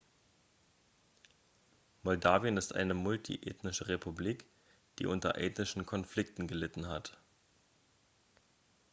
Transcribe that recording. moldawien ist eine multiethnische republik die unter ethnischen konflikte gelitten hat